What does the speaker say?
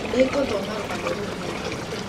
Nĩ ngũthoma rũgano rũu rĩngĩ.